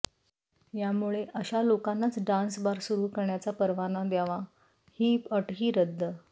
यामुळे अशा लोकांनाच डान्स बार सुरू करण्याचा परवाना द्यावा ही अटही रद्द